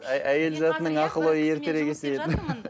әйел затының ақылы ертерек есейеді